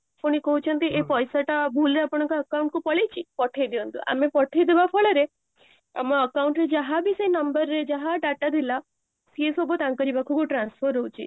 ପୁଣି କହୁଛନ୍ତି ଏଇ ପଇସା ଟା ଭୁଲ ରେ ଆପଣଙ୍କ account କୁ ପଳେଇଚି ପଠେଇ ଦିଅନ୍ତୁ ଆମେ ପଠେଇ ଦବା ଫଳରେ ଆମ account ରେ ଯାହା ବି ସେ number ରେ ଯାହା data ଥିଲା ସିଏ ସବୁ ତାଙ୍କରି ପାଖକୁ transfer ହଉଚି